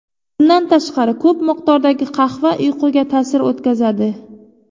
Bundan tashqari, ko‘p miqdordagi qahva uyquga ta’sir o‘tkazadi.